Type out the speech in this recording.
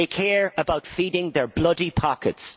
they care about feeding their bloody pockets.